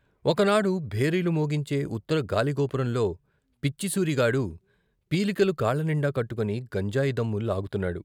ఒక నాడు భేరీలు మోగించే ఉత్తర గాలిగోపురంలో పిచ్చి సూరిగాడు పీలికలు కాళ్ళనిండా కట్టుకొని గంజాయి దమ్ము లాగుతున్నాడు.